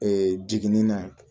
Ee jiginni na